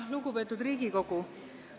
Lugupeetud Riigikogu!